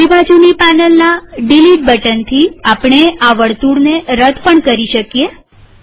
ડાબીબાજુની પેનલના ડીલીટ બટનથીઆપણે આ વર્તુળને રદ કરી શકીએ